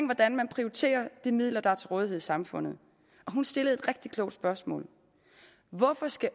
hvordan man prioriterer de midler der er til rådighed i samfundet og hun stillede et rigtig klogt spørgsmål hvorfor skal